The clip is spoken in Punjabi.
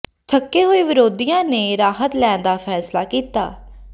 ਥੱਕੇ ਹੋਏ ਵਿਰੋਧੀਆਂ ਨੇ ਰਾਹਤ ਲੈਣ ਦਾ ਫੈਸਲਾ ਕੀਤਾ